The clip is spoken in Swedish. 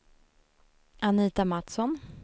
Anita Mattsson